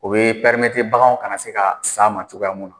U bɛ baganw kana se ka s'a ma cogoya mun na.